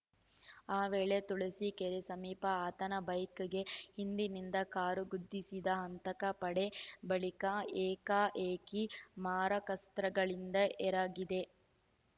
ಆ ವೇಳೆ ತುಳಸಿ ಕೆರೆ ಸಮೀಪ ಆತನ ಬೈಕ್‌ಗೆ ಹಿಂದಿನಿಂದ ಕಾರು ಗುದ್ದಿಸಿದ ಹಂತಕ ಪಡೆ ಬಳಿಕ ಏಕಾಏಕಿ ಮಾರಕಾಸ್ತ್ರಗಳಿಂದ ಎರಗಿದೆ